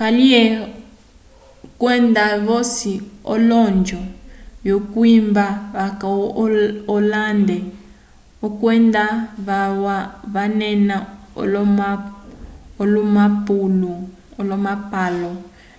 kaliye kwenda vosi olonjo vyokwimba vaca owalende kwenda valwa vanena olomapalo